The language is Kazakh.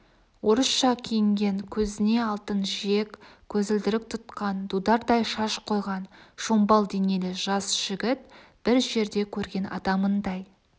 орысша киінген көзіне алтын жиек көзілдірік тұтқан дудардай шаш қойған шомбал денелі жас жігіт бір жерде көрген адамындай